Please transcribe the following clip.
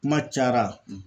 Kuma cayara